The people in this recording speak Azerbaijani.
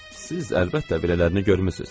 Siz əlbəttə belələrini görmüsüz.